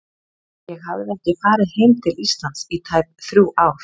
Ég hafði ekki farið heim til Íslands í tæp þrjú ár.